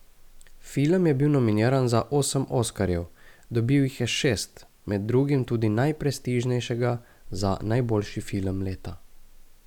Film je bil nominiran za osem oskarjev, dobil jih je šest, med drugim tudi najprestižnejšega, za najboljši film leta.